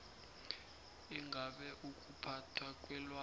ingabe ukuphathwa kwelwazi